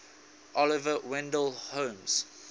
oliver wendell holmes